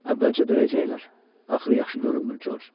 Əvvəlcə döyəcəklər, axırı yaxşı görünmür, Corc.